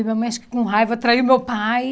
E minha mãe, acho que com raiva, traiu meu pai.